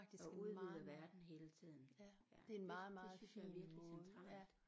Og udvider verden hele tiden ja det synes jeg er virkelig centralt